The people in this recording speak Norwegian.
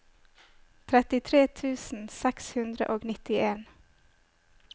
trettitre tusen seks hundre og nittien